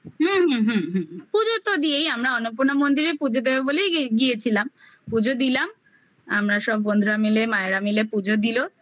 হুম হুম হুম পুজো তো দিয়েই আমরা অন্নপূর্ণা মন্দিরে পুজো দেবো বলেই গিয়েছিলাম পুজো দিলাম আমরা সব বন্ধুরা মিলে মায়েরা মিলে পুজো দিলো